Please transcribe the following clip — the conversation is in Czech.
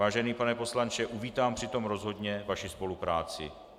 Vážený pane poslanče, uvítám při tom rozhodně vaši spolupráci.